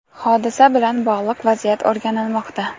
Hodisa bilan bog‘liq vaziyat o‘rganilmoqda.